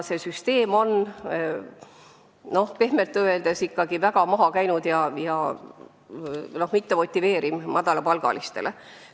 Seega süsteem on pehmelt öeldes väga maha käinud ega motiveeri madalapalgalisi inimesi.